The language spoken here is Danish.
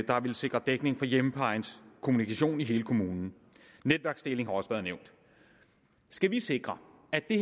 der ville sikre dækning til hjemmeplejens kommunikation i hele kommunen netværksdeling har også været nævnt skal vi sikre at vi